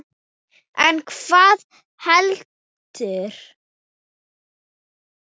En hvað veldur?